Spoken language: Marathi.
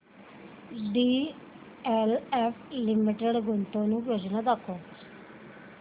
डीएलएफ लिमिटेड गुंतवणूक योजना दाखव